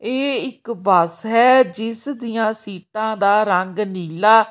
ਇਹ ਇੱਕ ਬੱਸ ਹੈ ਜਿਸ ਦੀਆਂ ਸੀਟਾਂ ਦਾ ਰੰਗ ਨੀਲਾ--